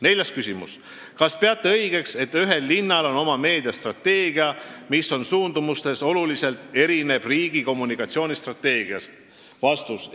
Neljas küsimus: "Kas peate õigeks, et ühel linnal on oma meediastrateegia, mis oma suundumustelt oluliselt erineb riigi kommunikatsioonistrateegiast?